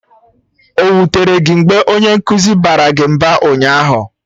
O wutere gị mgbe onye nkụzi gị baara gị mba ụnyaahụ?